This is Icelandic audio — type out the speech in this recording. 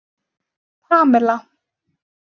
Pamela